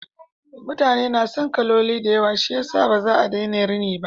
Mutane na son kaloli da yawa shiyasa ba za a daina rini ba.